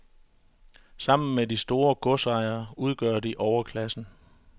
Sammen med de store godsejere udgør de overklassen.